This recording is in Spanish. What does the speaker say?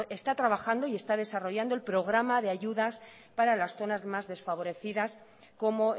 está trabajando y está desarrollando el programa de ayudas para las zonas más desfavorecidas como